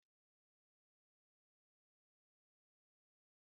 Ọ dịghị mma ife ụgbọ elu mgbe mmiri na-ezo